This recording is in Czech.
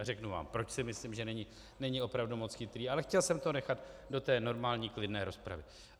A řeknu vám, proč si myslím, že není opravdu moc chytrý, ale chtěl jsem to nechat do té normální klidné rozpravy.